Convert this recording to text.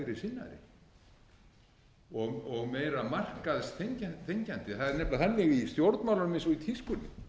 sinnaðir og meira markaðsþenkjandi það er nefnilega þannig í stjórnmálum eins og í tískunni